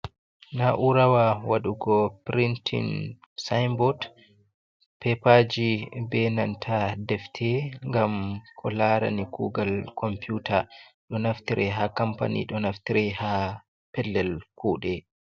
Na'urawa waɗugo printin sinbot, pepaji, be nanta defte, ngam ko larani kugal computa ɗo naftire ha kampany ɗo naftire ha pellel kuɗe